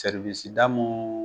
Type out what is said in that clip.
Seriwisi da mun